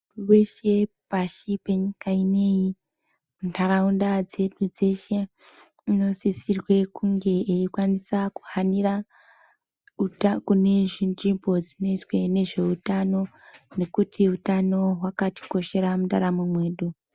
Muntu weshe pashi penyika ineyi, ntaraunda dzedu dzeshe unosisirwe kunge eikwanisa kuhanira kune zvinzvimbo dzinoitwa ngezveutano ngekuti utano hwakatikoshera muntaramo mwedu.